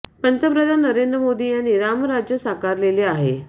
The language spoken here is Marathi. पंतप्रधान नेरंद्र मोदी यांनी राम राज्य साकारलेले आहे